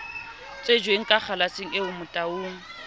tsejweng ka kgalaseng eo motaung